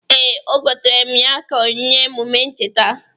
Ee, o gotere m ya ka onyinye emụme ncheta.